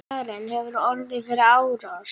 Karen: Hefurðu orðið fyrir árás?